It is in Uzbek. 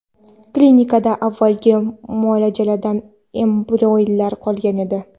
Klinikada avvalgi muolajadan embrionlar qolgan edi.